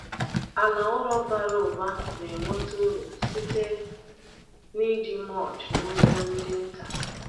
Ala ụrọ bara ụba na-enweta uru site n’iji mulch n’ugbo ndị nta.